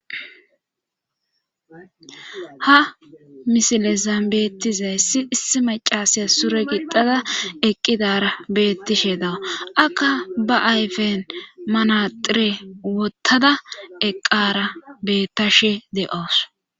ha misilezan beti zayssi issi macasaya sure gidada eqqidara bettishe dawa akka ba ayfen manaxire wottada eqqara bettashe de7oos